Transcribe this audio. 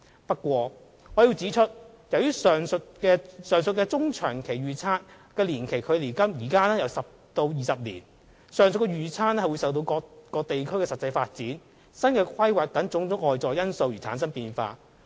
不過，我要指出，由於上述中長期預測的年期距今有10年至20年，上述預測會受各地區的實際發展、新規劃等種種外在因素影響而出現變化。